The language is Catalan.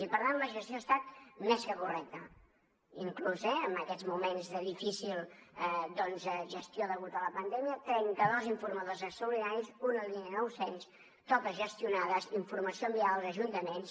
i per tant la gestió ha estat més que correcta inclús eh en aquests moments de difícil gestió degut a la pandèmia trenta dos informadors extraordinaris una línia nou cents totes gestionades informació enviada als ajuntaments